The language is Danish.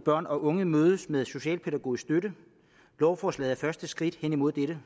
børn og unge mødes med socialpædagogisk støtte lovforslaget er første skridt hen imod dette